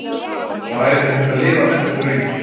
Það væri ekki hægt að lifa með þessu lengur.